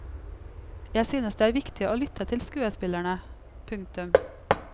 Jeg synes det er viktig å lytte til skuespillerne. punktum